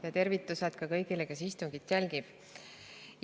Ja tervitused ka kõigile, kes istungit jälgivad!